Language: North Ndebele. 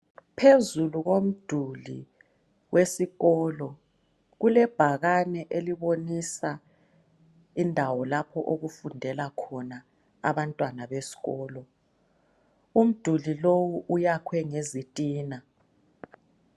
Phezulu komduli wesikolo kulebhakane elibonisa indawo okufundela khona abantwana besesikolo. Umduli lowu uyakhwe ngezitina.